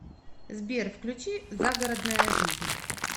сбер включи загородная жизнь